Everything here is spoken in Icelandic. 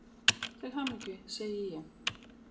Til hamingju, segi ég.